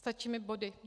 Stačí mi body.